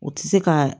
U ti se ka